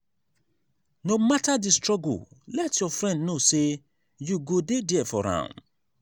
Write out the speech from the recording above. no matter di struggle let your friend know say you go dey there for am.